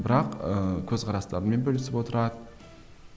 бірақ ыыы көзқарастарымен бөлісіп отырады